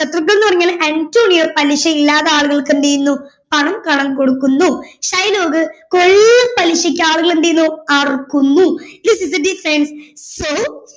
ശത്രുക്കൾ എന്ന് പറഞ്ഞാൽ അന്റോണിയോ പലിശയില്ലാതെ ആളുകൾക്ക് എന്ത് ചെയ്യുന്നു പണം കടം കൊടുക്കുന്നു ഷൈലോക്ക് കൊള്ള പലിശക്ക് ആളുകളെ എന്ത് ചെയ്യുന്നു അറുക്കുന്നു this is the difference